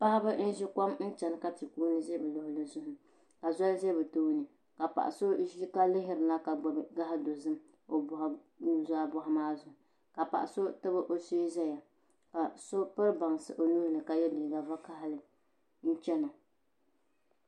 Paɣiba n zi kom n chɛna ka ti kuuni za bi luɣuli zuɣu ka zoli zɛ bi tooni ka paɣi so zi ma lihiri na ka gbubi gaɣi dozim o nuzaa zuɣu maa zuɣu paɣa so tabi o shɛɛ zaya ka so piri baŋsi o nuu 6ka yiɛ liiga vakahali n chɛna.